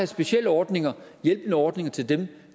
specielle ordninger hjælpeordninger til dem